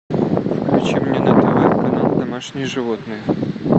включи мне на тв канал домашние животные